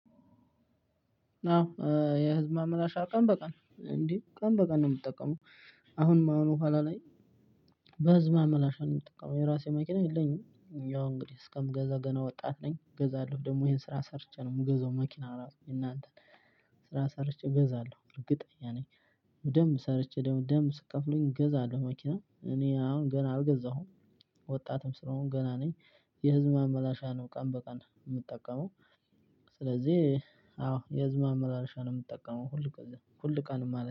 አዎ የህዝብ ማመላለሻ ቀን በቀን እንዴ ቀን በቀን ነው የምጠቀመው። አሁንም አሁን በኋላ ላይ። በህዝብ ማመላለሻ ነው የምጠቀመው የራሴ መኪና የለኝም። ያው እንግዲህ እስከምገዛ ገና ወጣት ነኝ እገዛለሁ። ደግሞ ይሄን ስራ ሰርቼ ነው የምገዛው። መኪና ራሱ የእናንተን ስራ ሰርቼ እገዛለሁ እርግጠኛ ነኝ። በደምብ ሰርቼ በደምብ ስትከፍሉኝ እገዛለሁ። መኪና እኔ አሁን ገና አልገዛሁም። ወጣትም ስለሆንኩ ገና ነኝ። የህዝብ ማመላሻ ነው ቀን በቀን የምጠቀመው። ስለዚህ አዎ የህዝብ ማመላለሻ ነው የምጠቀመው ሁል ጊዜ ሁል ቀን ማለት